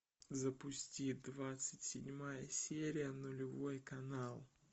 запусти двадцать седьмая серия нулевой канал